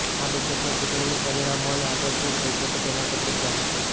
આ બેઠકમાં ચૂંટણીના પરિણામો અને આગળ શું થઈ શકે તેના પર ચર્ચા થશે